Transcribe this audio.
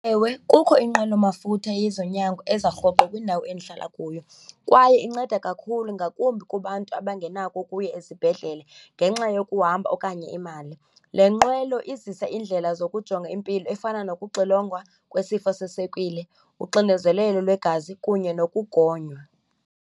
Ewe, kukho inqwelomafutha yezonyango eza rhoqo kwindawo endihlala kuyo, kwaye inceda kakhulu ngakumbi kubantu abangenako ukuya ezibhedlele ngenxa yokuhamba okanye imali. Le nqwelo izisa iindlela zokujonga impilo efana nokuxilongwa kwesifo seswekile, uxinezelelo lwegazi kunye nokugonywa.